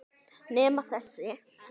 Nema þessi.